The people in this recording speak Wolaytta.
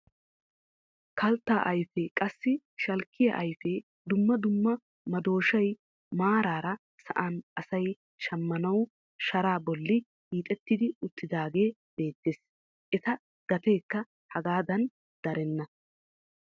Kalttaa ayfee qassi shalkkiyaa ayfee dumma dumma madooshshay maarara sa'an asay shammanawu sharaa bolli hiixetti uttidagee beettees. eta gateekka hegaadan darenna.